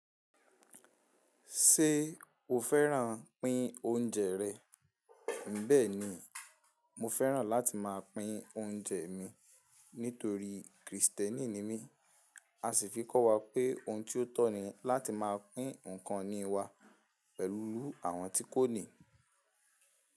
Ṣé o fẹ́ràn pín oúnjẹ rẹ? Bẹ́ẹ̀ ni, mo fẹ́ràn láti máa pín oúnjẹ mi nítorí Krìstẹ́nì ni mí, a sì fi kọ́ wa pé ohun tí ó tọ́ ni láti máa pín nǹkan ìní wa pẹ̀lú àwọn tí kò ní.